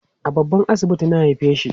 a babban asibiti na haifeshi